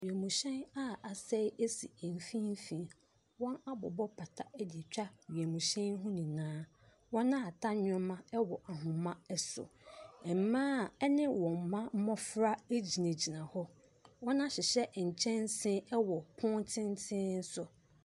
Wiemhyɛn a asɛe si mfimfini. Wɔabobɔ pata de atwa wiemhyɛn yi ho nyinaa. Wɔahata nneɛma wɔ ahoma so. Mmaa a ne wɔn mma mmɔfra gyinagyina hɔ. Wɔahyehyɛ nkyɛnsee wɔ pono tenten so.